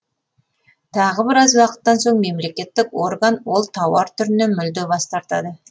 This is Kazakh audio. тағы біраз уақыттан соң мемлекеттік орган ол тауар түрінен мүлде бас тартады